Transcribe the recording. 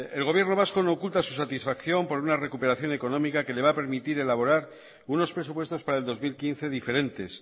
el gobierno vasco no oculta su satisfacción por una recuperación económica que le va a permitir elaborar unos presupuestos para el dos mil quince diferentes